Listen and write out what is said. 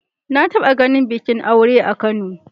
Na taɓa ganin bikin aure a Kano.